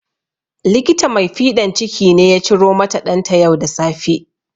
Likita mai fiɗan ciki ne ya ciromata ɗanta yau da safe